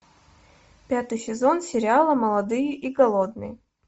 пятый сезон сериала молодые и голодные